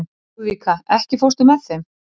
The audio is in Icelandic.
Lúðvíka, ekki fórstu með þeim?